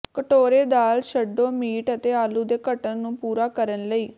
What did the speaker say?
ਕਟੋਰੇ ਦਾਲ ਛੱਡੋ ਮੀਟ ਅਤੇ ਆਲੂ ਦੇ ਘਟਣ ਨੂੰ ਪੂਰਾ ਕਰਨ ਲਈ